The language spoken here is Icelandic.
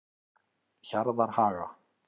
Hjarðarhaga